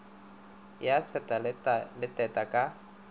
ya seta le teta ka